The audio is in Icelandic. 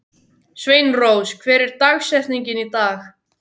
Sveinrós, hver er dagsetningin í dag?